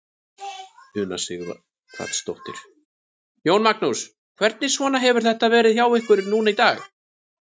Una Sighvatsdóttir: Jón Magnús, hvernig svona hefur þetta verið hjá ykkur núna í dag?